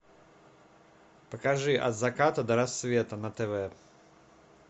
покажи от заката до рассвета на тв